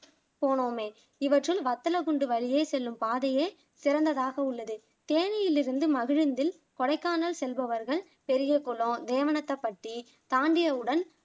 போனோமே இவற்றில் வத்தலகுண்டு வழியே செல்லும் பாதையே சிறந்ததாக உள்ளது தேனியிலிருந்து மகிழுந்தில் கொடைக்கானல் செல்பவர்கள் பெரியகுலம், நேவனத்தப்பட்டி தாண்டியவுடன்